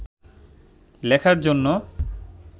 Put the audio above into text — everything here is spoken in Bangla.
লেখার জন্য